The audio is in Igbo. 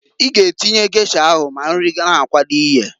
I g'atinnye gesha ahụ ma nri na-akwado iyeǃ